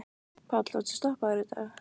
Páll: Varstu stoppaður í dag?